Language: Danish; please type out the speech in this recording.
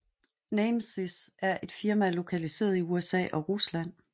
Namesys er et firma lokaliseret i USA og Rusland